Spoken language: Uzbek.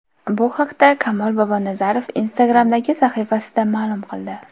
Bu haqda Kamol Bobonazarov Instagram’dagi sahifasida ma’lum qildi .